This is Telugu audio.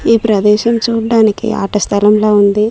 ఈ ప్రదేశం చూడ్డానికి ఆట స్థలంల ఉంది.